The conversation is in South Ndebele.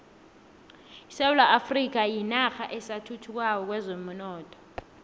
isewula afrika yinarha esathuthukako kwezomnotho